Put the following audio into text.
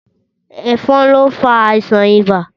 Ẹ̀fọn lo nfa àìsàn ibà